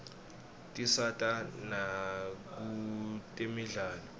tisata nakutemidlalo